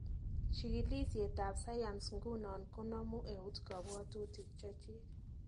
Chikilisiet ab sayans nguno konomu eut kapwatutik chechik